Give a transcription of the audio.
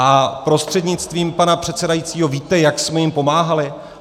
A prostřednictvím pana předsedajícího - víte, jak jsme jim pomáhali?